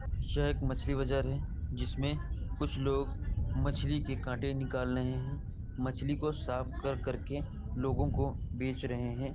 यह एक मछली बाजार है जिसमे कुछ लोग मछली के कांटे निकाल लहे हैं। मछली को साफ कर-कर के लोगों को बेच रहे हैं।